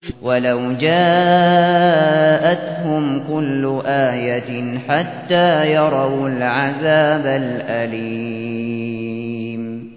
وَلَوْ جَاءَتْهُمْ كُلُّ آيَةٍ حَتَّىٰ يَرَوُا الْعَذَابَ الْأَلِيمَ